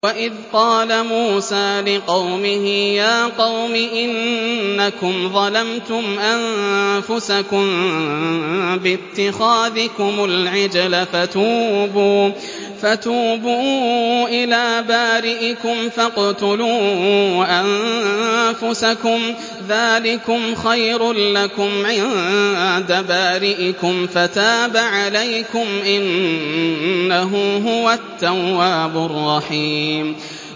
وَإِذْ قَالَ مُوسَىٰ لِقَوْمِهِ يَا قَوْمِ إِنَّكُمْ ظَلَمْتُمْ أَنفُسَكُم بِاتِّخَاذِكُمُ الْعِجْلَ فَتُوبُوا إِلَىٰ بَارِئِكُمْ فَاقْتُلُوا أَنفُسَكُمْ ذَٰلِكُمْ خَيْرٌ لَّكُمْ عِندَ بَارِئِكُمْ فَتَابَ عَلَيْكُمْ ۚ إِنَّهُ هُوَ التَّوَّابُ الرَّحِيمُ